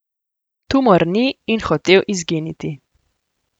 Tumor ni in hotel izginiti.